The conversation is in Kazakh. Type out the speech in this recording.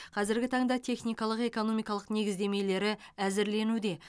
қазіргі таңда техникалық экономикалық негіздемелері әзірленуде